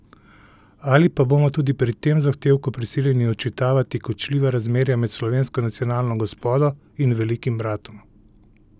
Ali pa bomo tudi pri tem zahtevku prisiljeni odčitavati kočljiva razmerja med slovensko nacionalno gospodo in Velikim bratom?